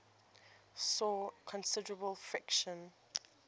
saw considerable friction